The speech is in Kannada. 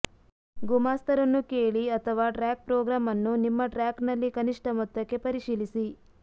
ಗುಮಾಸ್ತರನ್ನು ಕೇಳಿ ಅಥವಾ ಟ್ರ್ಯಾಕ್ ಪ್ರೋಗ್ರಾಂ ಅನ್ನು ನಿಮ್ಮ ಟ್ರ್ಯಾಕ್ನಲ್ಲಿ ಕನಿಷ್ಠ ಮೊತ್ತಕ್ಕೆ ಪರಿಶೀಲಿಸಿ